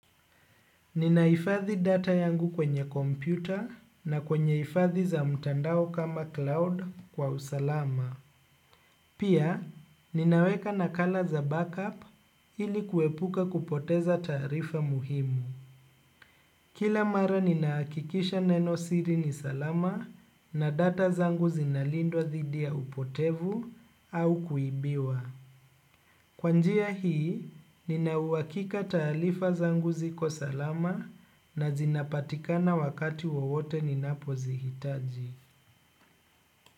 Ninaifadhi data yangu kwenye kompyuta na kwenye hifadhi za mtandao kama cloud kwa usalama. Pia, ninaweka nakala za backup ili kuepuka kupoteza tarifa muhimu. Kila mara ninahakikisha neno siri ni salama na data zangu zinalindwa dhidi ya upotevu au kuibiwa. Kwa njia hii, nina uhakika taarifa zangu ziko salama na zinapatikana wakati wowote ninapo zihitaji.